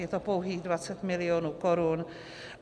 Je to pouhých 20 mil. korun.